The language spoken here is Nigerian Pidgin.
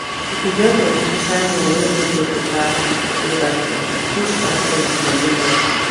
if you join persin sign loan wey no get better payback plan e fit scatter your money life